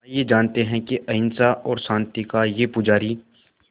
आइए जानते हैं कि अहिंसा और शांति का ये पुजारी